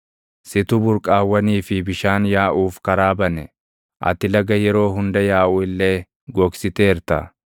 Situ burqaawwanii fi bishaan yaaʼuuf karaa bane; ati laga yeroo hunda yaaʼu illee gogsiteerta.